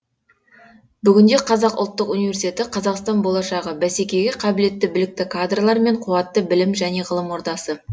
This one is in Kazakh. бүгінде қазақ ұлттық университеті қазақстан болашағы бәсекеге қабілетті білікті кадрлар мен қуатты білім және ғылым ордасы